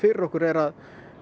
fyrir okkur er að